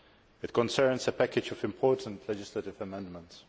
It concerns a package of important legislative amendments.